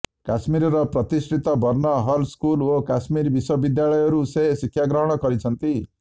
କାଶ୍ମୀରର ପ୍ରତିଷ୍ଠିତ Burn Hall School ଓ କାଶ୍ମୀର ବିଶ୍ୱ ବିଦ୍ୟାଳୟରୁ ସେ ଶିକ୍ଷାଗ୍ରହଣ କରିଛନ୍ତି